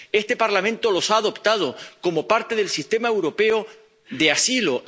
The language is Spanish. Este Parlamento los ha adoptado como parte del sistema europeo de asilo